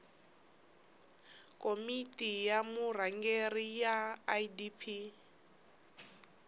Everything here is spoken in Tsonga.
komiti ya vurhangeri ya idp